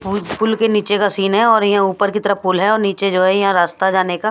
full पुल के नीचे का सिन है और ये ऊपर की तरफ पुल है नीचे जो ये है रास्ता जाने का--